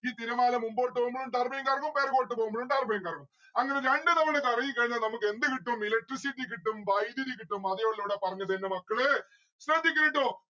ഈ തിരമാല മുമ്പോട്ട് പോകുമ്പോഴും turbine കറങ്ങും പെറകോട്ട പോകുമ്പോഴും turbine കറങ്ങും. അങ്ങനെ രണ്ടു തവണ കറങ്ങിക്കഴിഞ്ഞാൽ നമ്മുക്കെന്ത് കിട്ടും? electricity കിട്ടും വൈധ്യുതി കിട്ടും ഉള്ളു ഇവിടെ പറഞ്ഞത് എന്റെ മക്കളേ ശ്രദ്ധിക്കണേ ട്ടോ